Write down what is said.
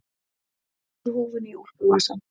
Stingur húfunni í úlpuvasann.